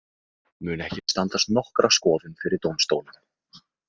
Mun ekki standast nokkra skoðun fyrir dómstólum.